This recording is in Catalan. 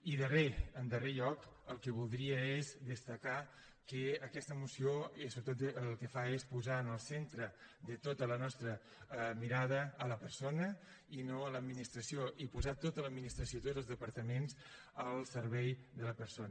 i darrer en darrer lloc el que voldria és destacar que aquesta moció sobretot el que fa és posar en el centre de tota la nostra mirada la persona i no l’administració i posar tota l’administració i tots els departaments al servei de la persona